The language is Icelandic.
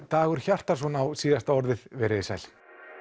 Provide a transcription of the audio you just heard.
Dagur Hjartarson á síðasta orðið veriði sæl